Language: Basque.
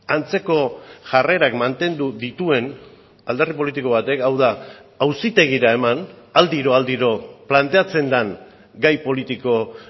antzeko jarrerak mantendu dituen alderdi politiko batek hau da auzitegira eman aldiro aldiro planteatzen den gai politiko